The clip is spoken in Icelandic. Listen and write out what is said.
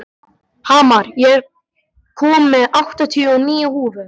Hamar, ég kom með áttatíu og níu húfur!